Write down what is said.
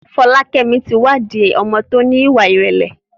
Folakemi ti wa di ọmọ ti o ní ìwà ìrẹlẹ.